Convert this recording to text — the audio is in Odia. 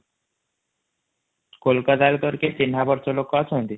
କୋଲକାତା ରେ ତୋର କେହି ଚିନପରିଚ ଲୋକ ଅଛନ୍ତି |